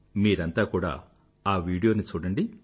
మీఅంతా కూడా ఆ వీడియోను చూడండి